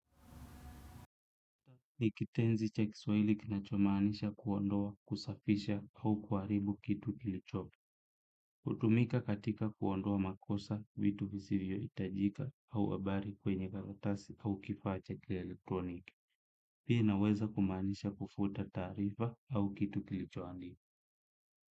Nikitenzi cha kiswaili kinachomanisha kuondoa, kusafisha au kuharibu kitu kilicho. hutumika katika kuondoa makosa, vitu visivyo hitajika au habari kwenye karatasi au kifaa cha kielektroniki. Pia inaweza kumanisha kufuta tarifa au kitu kilicho andi.